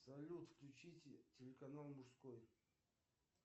салют включите телеканал мужской